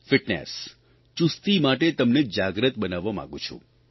fitness ચુસ્તી માટે તમને જાગ્રત બનાવવા માંગું છું